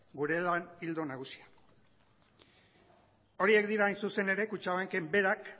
gure ildo nagusia horiek dira hain zuzen ere kutxabankek berak